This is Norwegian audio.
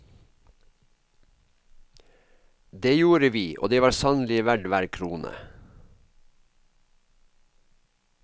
Det gjorde vi, og det var sannelig verd hver krone.